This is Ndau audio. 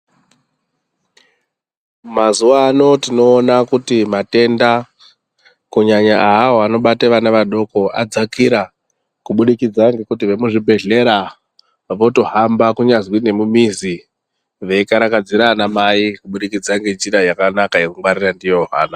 Mazuwa ano tinoona kuti matenda kunyanya awawo anobata vana vadoko adzakira kubudikidza ngekuti vemuzvibhehlera votohamba kunyazwi nemumizi vekarakadzira vanamai kubudikidza ngenjira yakanaka yekungwarira ndiyo vana.